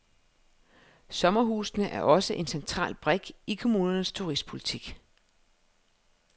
Sommerhusene er også en central brik i kommunernes turistpolitik.